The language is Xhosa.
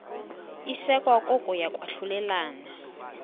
isekwa kokuya kwahlulelana